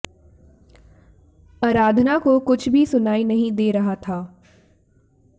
आराधना को कुछ भी सुनाई नहीं दे रहा था